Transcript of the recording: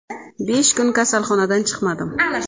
Besh kun kasalxonadan chiqmadim.